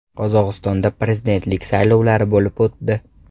Qozog‘istonda prezidentlik saylovlari bo‘lib o‘tdi.